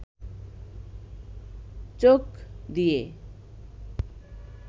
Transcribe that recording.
চোখ দিয়ে